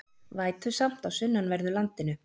Vætusamt á sunnanverðu landinu